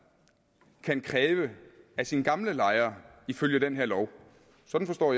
kan kræve af sin gamle lejer ifølge den her lov sådan forstår